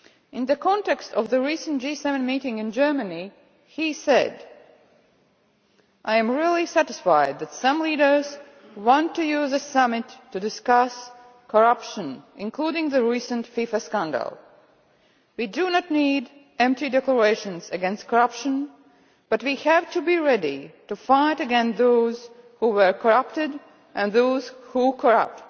In the context of the recent G7 meeting in Germany, he said I am really satisfied that some leaders want to use the summit to discuss corruption, including the recent FIFA scandal. We do not need empty declarations against corruption but we have to be ready to fight against those who were corrupted and those who corrupt.